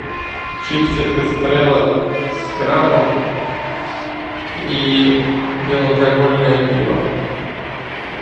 чипсы эстрелла с крабом и безалкогольное пиво